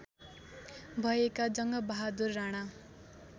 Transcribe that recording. भएका जङ्गबहादुर राणा